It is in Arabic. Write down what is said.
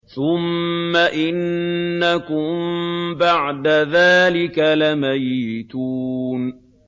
ثُمَّ إِنَّكُم بَعْدَ ذَٰلِكَ لَمَيِّتُونَ